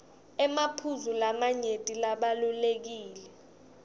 emaphuzu lamanyenti labalulekile